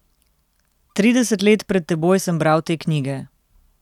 Trideset let pred teboj sem bral te knjige.